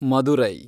Madurai